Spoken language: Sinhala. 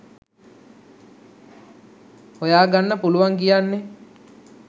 හොයගන්න පුලුවන් කියන්නෙ.